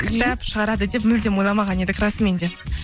кітап шығарады деп мүлдем ойламаған едік расымен де